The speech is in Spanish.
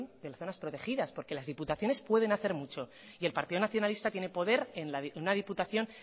de las zonas protegidas porque las diputaciones pueden hacer mucho y el partido nacionalista tiene poder en una diputación